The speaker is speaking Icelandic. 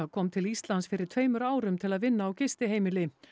kom til Íslands fyrir tveimur árum til að vinna á gistiheimili